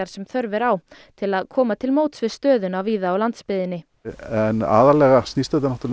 sem þörf er á til að koma til móts við stöðuna á landsbyggðinni en aðallega snýst þetta